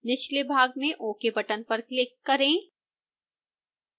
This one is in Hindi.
निचले भाग में ok बटन पर क्लिक करें